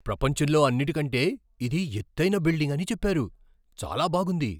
ప్రపంచంలో అన్నిటికంటే ఇది ఎత్తైన బిల్డింగ్ అని చెప్పారు. చాలా బాగుంది!